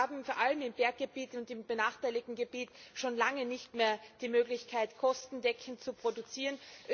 Wir haben vor allem im Berggebiet und im benachteiligten Gebiet schon lange nicht mehr die Möglichkeit, kostendeckend zu produzieren.